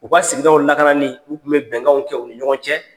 U ka sigiɲɔgɔnw lakanani u tun be bɛnkanw kɛ u ni ɲɔgɔn cɛ.